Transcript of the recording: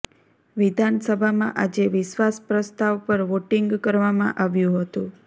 વિધાનસભામાં આજે વિશ્વાસ પ્રસ્તાવ પર વોટીંગ કરવામાં આવ્યું હતું